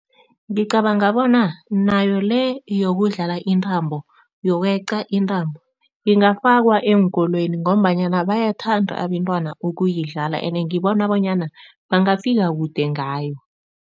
Ngicabanga bona nayo le yokudlala intambo yokweqa intambo ingafakwa eenkolweni ngombanyana bayathanda abentwana ukuyidlala ene ngibona bonyana bangafika kude ngayo.